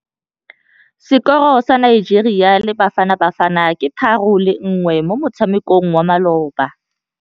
Sekôrô sa Nigeria le Bafanabafana ke 3-1 mo motshamekong wa malôba.